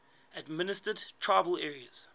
administered tribal areas